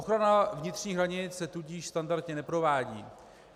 Ochrana vnitřních hranic se tudíž standardně neprovádí.